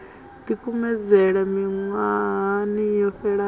ḓi kumedzela miṅwahani yo fhelaho